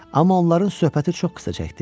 Amma onların söhbəti çox qısa çəkdi.